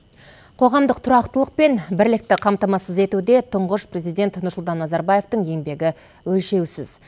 қоғамдық тұрақтылық пен бірлікті қамтамасыз етуде тұңғыш президент нұрсұлтан назарбаевтың еңбегі өлшеусіз